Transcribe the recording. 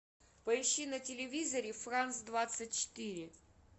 поищи на телевизоре франс двадцать четыре